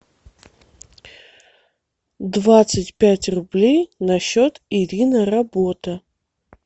двадцать пять рублей на счет ирина работа